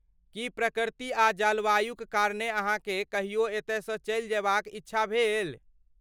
की प्रकृति आ जलवायुक कारणे अहाँकेँ कहियो एतयसँ चलि जयबाक इच्छा भेल?